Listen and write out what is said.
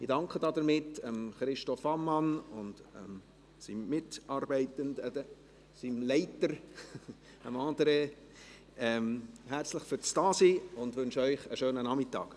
Ich danke damit Christoph Ammann, dem Generalsekretär André Nietlisbach und seinen Mitarbeitenden herzlich für ihre Anwesenheit und wünsche ihnen einen schönen Nachmittag.